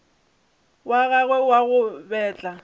wa gagwe wa go betla